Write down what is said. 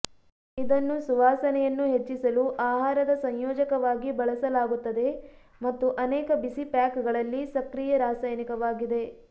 ಇದನ್ನು ಸುವಾಸನೆಯನ್ನು ಹೆಚ್ಚಿಸಲು ಆಹಾರದ ಸಂಯೋಜಕವಾಗಿ ಬಳಸಲಾಗುತ್ತದೆ ಮತ್ತು ಅನೇಕ ಬಿಸಿ ಪ್ಯಾಕ್ಗಳಲ್ಲಿ ಸಕ್ರಿಯ ರಾಸಾಯನಿಕವಾಗಿದೆ